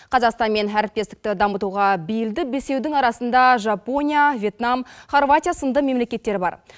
қазақстанмен әріптестікті дамытуға биылды бесеудің арасында жапония вьетнам харватия сынды мемлекеттер бар